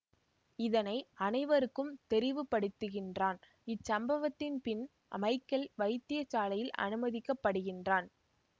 இதனை அனைவருக்கும் தெரிவுப் படுத்துகின்றான் இச்சம்பவத்தின் பின் மைக்கேல் வைத்தியசாலையில் அனுமதிக்கப்படுகின்றான்